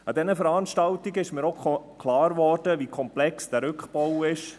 An diesen Veranstaltungen wurde mir auch klar, wie komplex dieser Rückbau ist.